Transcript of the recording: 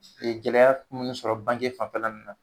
E gɛlɛya kun sɔrɔ bange fanfɛla nu na